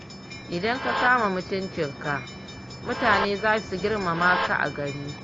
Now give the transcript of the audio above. Idan ka kama mutuncinka mutane za su girmama ka a gari